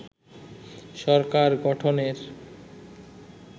সরকার গঠনের